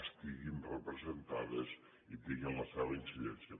estiguin representades i tinguin la seva incidència